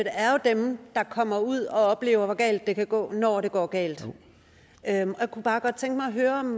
er jo dem der kommer ud og oplever hvor galt det kan gå når det går galt jeg kunne bare godt tænke mig at høre om